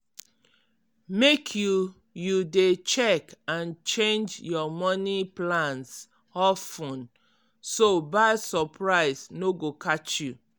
make you you dey check and change your money plans of ten so bad surprise no go catch you.